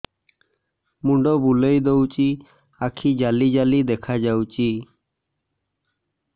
ମୁଣ୍ଡ ବୁଲେଇ ଦଉଚି ଆଖି ଜାଲି ଜାଲି ଦେଖା ଯାଉଚି